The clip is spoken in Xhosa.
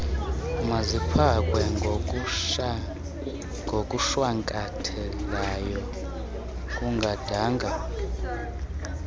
maziphathwe ngokushwankathelayo kungadanga